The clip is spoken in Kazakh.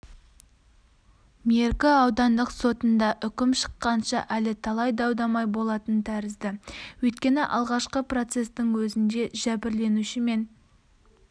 меркі аудандық сотында үкім шыққанша әлі талай дау-дамай болатын тәрізді өйткені алғашқы процестің өзінде жәбірленуші мен